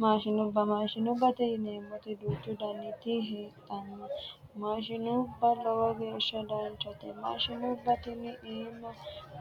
Maashinubba maashinubbate yineemmoti duuchu daniti heedhanno mmaashinubba lowo geeshsha danchate maashinubba tini iima